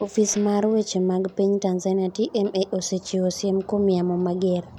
Ofis mar weche mag piny Tanzania (TMA) osechiwo siem kuom yamo mager.